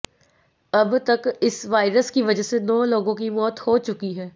अब तक इस वायरस की वजह से नौ लोगों की मौत हो चुकी है